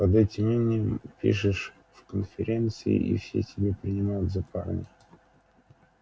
под этим именем пишешь в конференции и все тебя принимают за парня